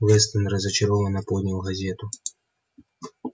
вестон разочарованно поднял газету